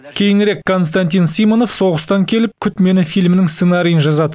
кейінірек константин симонов соғыстан келіп күт мені фильмінің сценариін жазады